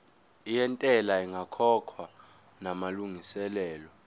yentela ingakakhokhwa namalungiselo